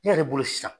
Ne yɛrɛ bolo sisan